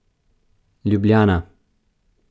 Ljubljana.